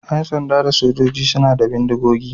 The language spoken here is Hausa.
Yan sanda da sojoji suna da bindigogi.